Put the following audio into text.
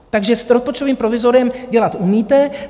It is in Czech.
Takže s rozpočtovým provizoriem dělat umíte.